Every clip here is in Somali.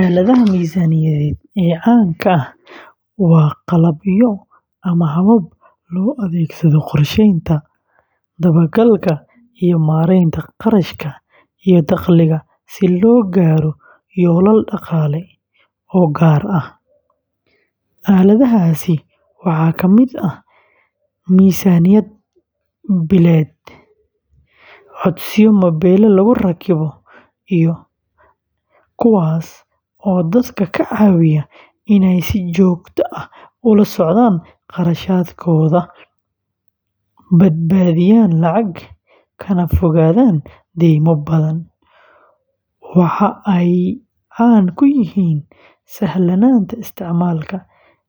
Aaladaha miisaaniyadeed ee caanka ah waa qalabyo ama habab loo adeegsado qorsheynta, dabagalka, iyo maareynta kharashaadka iyo dakhliga si loo gaaro yoolal dhaqaale oo gaar ah. Aaladahaasi waxaa ka mid ah miisaaniyad billeed, codsiyo mobilada lagu rakibo kuwaas oo dadka ka caawiya inay si joogto ah ula socdaan kharashaadkooda, badbaadiyaan lacag, kana fogaadaan deymo badan. Waxa ay caan ku yihiin sahlanaanta isticmaalka,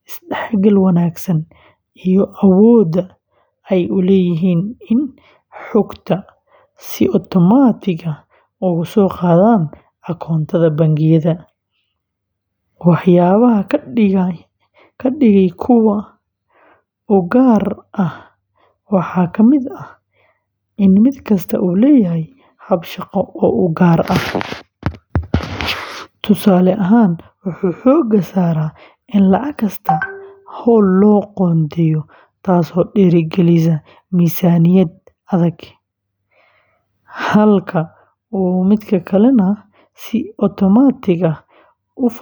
isdhexgal wanaagsan, iyo awoodda ay u leeyihiin in xogta si otomaatig ah uga soo qaadaan akoonnada bangiyada. Waxyaabaha ka dhigaya kuwo u gaar ah waxaa kamid ah in mid kasta uu leeyahay hab shaqo oo gaar ah, tusaale ahaan, wuxuu xoogga saaraa in lacag kasta hawl loo qoondeeyo, taasoo dhiirrigelisa miisaaniyad adag, halka uu si otomaatig ah u falanqeeyo.